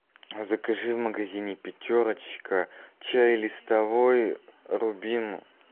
закажи в магазине пятерочка чай листовой рубин